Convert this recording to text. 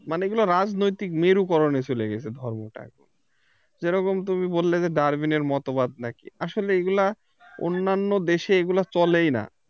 মানে এগুলা রাজনৈতিক মেরুকরণে চলে গেছে ধর্মটা। যেরকম তুমি বললে যে Darwin এর মতবাদ নাকি আসলে এগুলা অন্যান্য দেশে এগুলা চলেই না